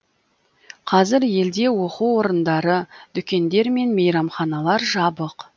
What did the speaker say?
қазір елде оқу орындары дүкендер мен мейрамханалар жабық